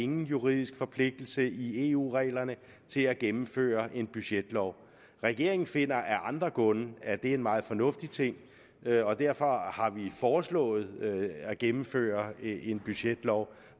nogen juridisk forpligtelse i eu reglerne til at gennemføre en budgetlov regeringen finder af andre grunde at det er en meget fornuftig ting og derfor har har vi foreslået at gennemføre en budgetlov